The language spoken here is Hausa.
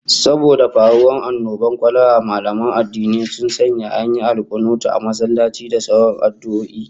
Saboda faruwar annobar kwalara, mallaman addini sun sanya an yi ta alkunuti a masallatai da sauran addu'o'i